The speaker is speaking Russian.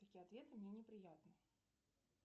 такие ответы мне неприятны